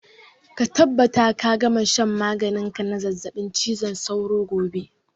Ka tabbata ka gama shan maganin ka na zazzabin cizon sauro gobe!